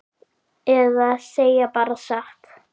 Eða segja bara satt?